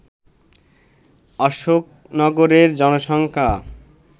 অশোকনগরের জনসংখ্যা